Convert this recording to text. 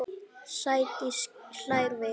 Sædís hlær við.